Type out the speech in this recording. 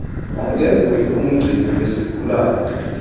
angenguye umgcini wesigulane